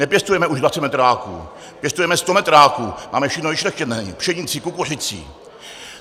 Nepěstujeme už 20 metráků, pěstujeme 100 metráků, máme všechno vyšlechtěné, pšenici, kukuřici.